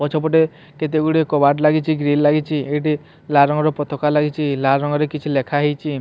ପଛପଟେ କେତେ ଗୁଡିଏ କବାଟ ଲାଗିଚି ଗ୍ରିଲ ଲାଗିଚି ଏଇଠି ଲାଲ ରଙ୍ଗର ପତାକା ଲାଗିଚି ଲାଲ ରଙ୍ଗରେ କିଛି ଲେଖାହେଇଚି।